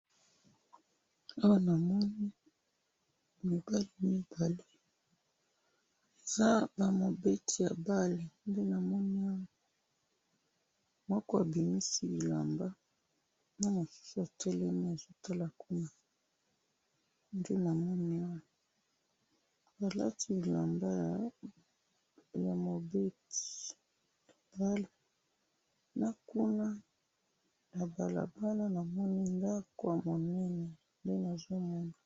awana namoni bamobali mibale baza ba mobeti yabale moko azobimisa bilamba naye mususu atelemi nde namoni